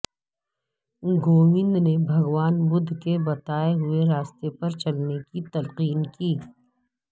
کووند نے بھگوان بدھ کے بتائے ہوئے راستے پر چلنے کی تلقین کی